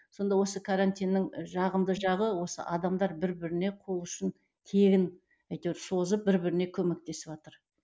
сонда осы карантиннің жағымды жағы осы адамдар бір біріне қол ұшын тегін әйтеуір созып бір біріне көмектесіватыр